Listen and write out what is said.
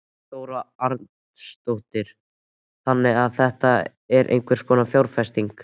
Þóra Arnórsdóttir: Þannig að þetta er einhvers konar fjárfesting?